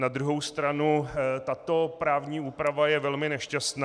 Na druhou stranu tato právní úprava je velmi nešťastná.